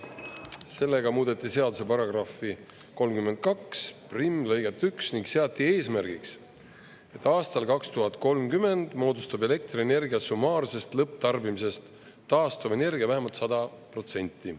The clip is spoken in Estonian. Sellega muudeti seaduse paragrahvi 321 lõiget 1 ning seati eesmärgiks, et aastal 2030 moodustab elektrienergia summaarsest lõpptarbimisest taastuvenergia vähemalt 100%.